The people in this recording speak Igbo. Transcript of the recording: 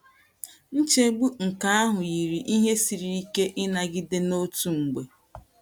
Nchegbu nke ahụ yiri ihe siri ike ịnagide n’otu mgbe.